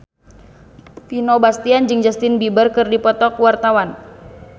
Vino Bastian jeung Justin Beiber keur dipoto ku wartawan